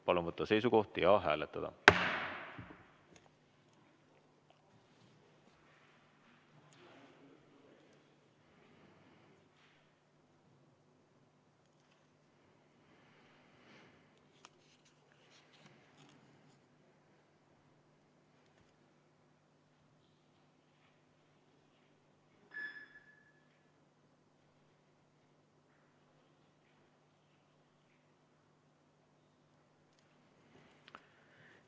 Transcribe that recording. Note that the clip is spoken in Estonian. Palun võtta seisukoht ja hääletada!